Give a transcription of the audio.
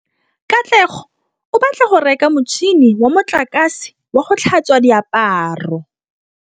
Katlego o batla go reka motšhine wa motlakase wa go tlhatswa diaparo.